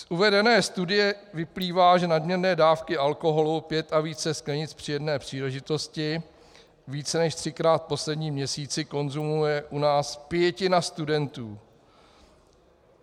Z uvedené studie vyplývá, že nadměrné dávky alkoholu pět a více sklenic při jedné příležitosti více než třikrát v posledním měsíci konzumuje u nás pětina studentů.